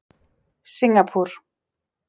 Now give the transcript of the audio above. Singapúr